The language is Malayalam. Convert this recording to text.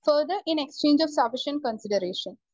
Speaker 1 further in exchange of sufficient consideration.